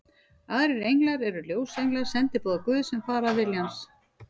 Aðrir englar eru ljósenglar, sendiboðar Guðs, sem fara að vilja hans.